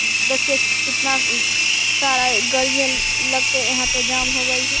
देखिये कितना सारा गाड़ियां लगके यहाँ पे जाम हो गई है।